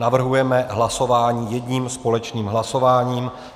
Navrhujeme hlasování jedním společným hlasováním.